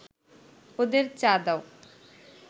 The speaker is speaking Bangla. ওদের চা দাও